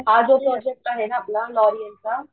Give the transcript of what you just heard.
हा जो प्रोजेक्ट आहे ना आपला लॉरिअल चा